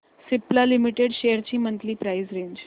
Cipla limited shares ची monthly price range